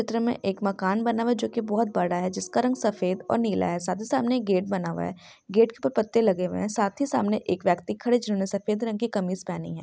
चित्र में एक मकान बना हुआ है जो कि बहुत बड़ा है। जिसका रंग सफेद और नीला है। साथ ही सामने गेट बना हुआ है। गेट तो पत्ते लगे हुए है। साथ ही सामने एक व्यक्ति खड़े जिन्होंने सफेद रंग की कमीज़ पहनी है।